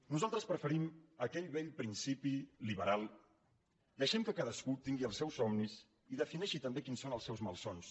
nosaltres preferim aquell vell principi liberal deixem que cadascú tingui el seus somnis i defineixi també quins són els seus malsons